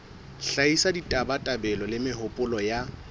hlahisa ditabatabelo le mehopolo ya